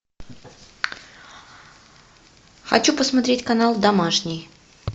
хочу посмотреть канал домашний